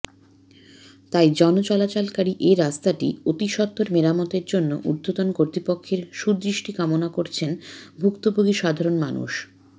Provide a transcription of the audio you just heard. তাই জনচলাচলকারী এ রাস্তাটি অতিসত্ত্বর মেরামতের জন্য উর্ধ্বতন কর্তৃপক্ষের সুদৃষ্টি কামনা করছেন ভুক্তভোগী সাধারন মানুষ